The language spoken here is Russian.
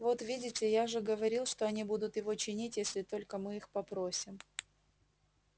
вот видите я же говорил что они будут его чинить если только мы их попросим